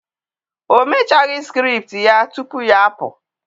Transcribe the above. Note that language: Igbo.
o mechaghi script ya tupu ya apu.